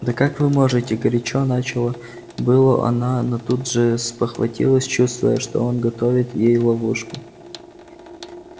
да как вы можете горячо начала было она но тут же спохватилась чувствуя что он готовит ей ловушку